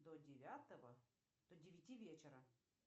до девятого до девяти вечера